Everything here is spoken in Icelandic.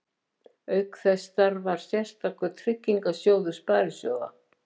Auk þessa starfar sérstakur tryggingasjóður sparisjóða.